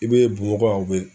I bɛ